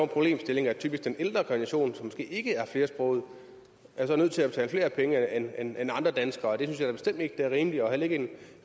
problemstilling at typisk den ældre generation som ikke er flersproget er nødt til at betale flere penge end end andre danskere det synes jeg da bestemt ikke er rimeligt og heller ikke